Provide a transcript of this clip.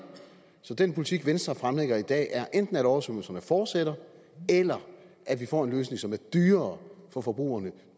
så den politik venstre fremlægger i dag er enten at oversvømmelserne fortsætter eller at vi får en løsning som er dyrere for forbrugerne